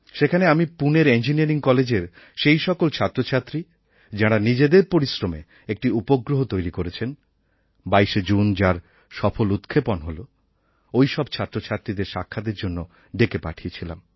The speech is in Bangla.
সেখানে আমি পুনের ইঞ্জিনিয়ারিং কলেজের সেই সকল ছাত্রছাত্রী যাঁরা নিজেদের পরিশ্রমে একটি উপগ্রহ তৈরি করেছেন ২২শে জুন যার সফল উৎক্ষেপণ হয় ওই সব ছাত্রছাত্রীদের সাক্ষাতের জন্য ডেকে পাঠিয়েছিলাম